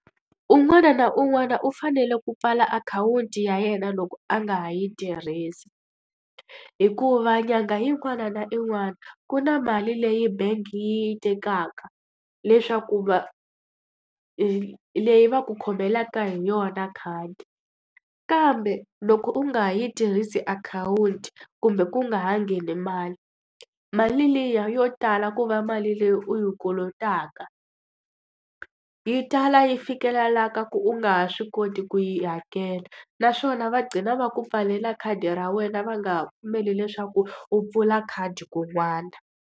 Un'wana na un'wana u fanele ku pfala akhawunti ya yena loko a nga ha yi tirhisi. Hikuva nyangha yin'wana na yin'wana ku na mali leyi bangi yi yi tekaka leswaku leyi va ku khomelaka hi yona khadi. Kambe loko u nga ha yi tirhisi akhawunti kumbe ku nga ha ngheni mali, mali liya yo tala ku va mali leyi u yi kolotaka. Yi tala yi fikelelaka ku u nga ha swi koti ku yi hakela, naswona va gcina va ku pfalela khadi ra wena va nga ha pfumeli leswaku u pfula khadi kun'wana.